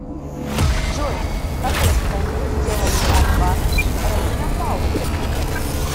джой в какой стране сделали аль бано и ромина пауэр